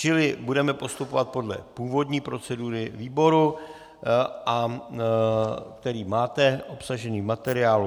Čili budeme postupovat podle původní procedury výboru, který máte obsažený v materiálu.